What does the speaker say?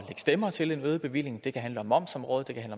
stemmer til en øget bevilling det kan handle om momsområdet det kan